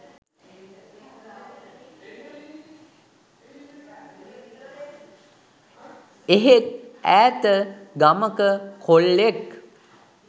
එහෙත් ඈත ගමක කොල්ලෙක්